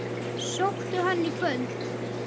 Sóttu hann í kvöld.